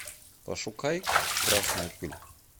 пошукай красная пыль